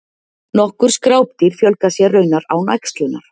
nokkur skrápdýr fjölga sér raunar án æxlunar